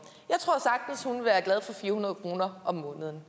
jeg hundrede kroner om måneden